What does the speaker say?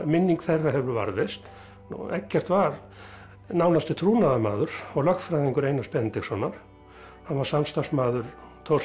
minning þeirra hefur varðveist Eggert var nánasti trúnaðarmaður og lögfræðingur Einars Benediktssonar hann var samstarfsmaður Thors